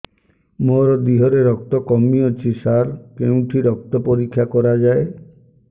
ମୋ ଦିହରେ ରକ୍ତ କମି ଅଛି ସାର କେଉଁଠି ରକ୍ତ ପରୀକ୍ଷା କରାଯାଏ